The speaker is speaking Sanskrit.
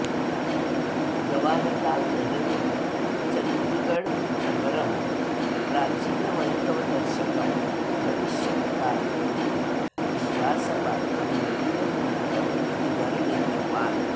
जवाहरलालनेहरु चण्डीगडनगरं प्राचीनवैभवदर्शकं भविष्यत्कालीनं विश्वासपात्रं नवीनं नगरं इति वर्णितवान्